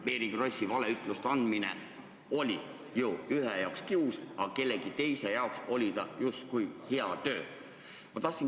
Mary Krossi valeütluste andmine oli ju osa inimeste jaoks kius, aga teiste jaoks oli see justkui hea töö.